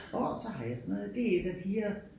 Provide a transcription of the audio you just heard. Orh så har jeg sådan noget det et af piger